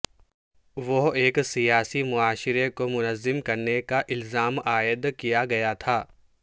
وہ ایک سیاسی معاشرے کو منظم کرنے کا الزام عائد کیا گیا تھا